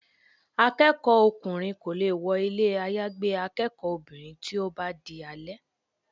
Akẹ́kọ̀ọ́ ọkùnrin kò lè wọ ilé àyágbé akẹ́kọ̀ọ́ obìnrin tí ó bá ti di alẹ́.